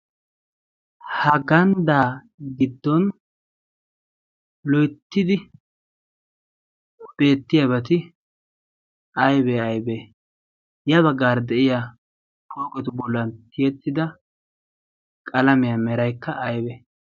Haganddaa giddon loittidi beettiyaa beti aibee aibee yaa baggaara de7iya pooqetu bollan tiyettida qalamiyaa meraykka aybee?